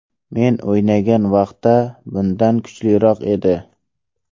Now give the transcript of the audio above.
Men o‘ynagan vaqtda bundan kuchliroq edi.